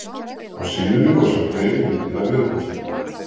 Á síðunni má sjá fleiri myndir af viðfangsefninu.